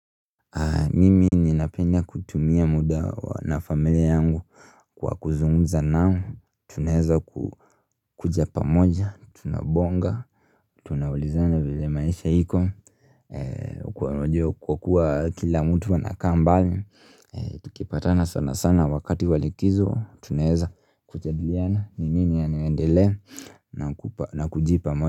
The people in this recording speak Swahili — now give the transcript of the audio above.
Mimi nina penda kutumia muda na familia yangu kwa kuzungumza nao, tunaweza kukuja pamoja, tunabonga, tunaulizana vile maisha iko, kwakua kila mtu anakaa mbali, tukipatana sana sana wakati wa likizo, tunaweza kujadiliana, ni nini yanayo endelea na kujipa moyo.